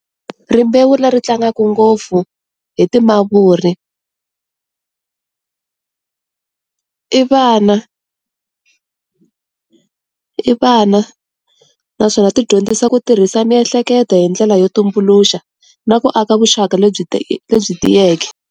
Rimbewu leri tlangaka ngopfu hi timavuri i vana i vana naswona ti dyondzisa ku tirhisa miehleketo hi ndlela yo tumbuluxa na ku aka vuxaka lebyi lebyi tiyeke.